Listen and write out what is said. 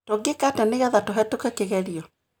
Tũngĩka atĩa nĩgetha tuhetũke kĩgerio